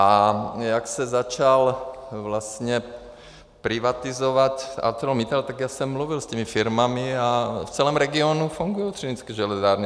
A jak se začal vlastně privatizovat ArcelorMittal, tak já jsem mluvil s těmi firmami a v celém regionu fungují Třinecké železárny.